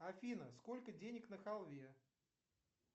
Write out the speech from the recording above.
афина сколько денег на халве